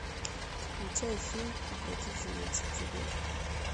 включай фильм укротительница тигров